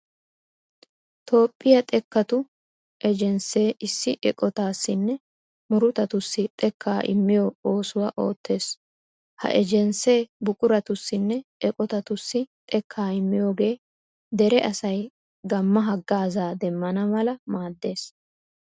Toophphiya xekkatu ejenssee issi eqotaassinne murutatussi xekkaa immiyo oosuwa oottees. Ha ejenssee buquratussinne eqotatussi xekkaa immiyogee dere asay gamma haggaazaa demmana mala maaddees.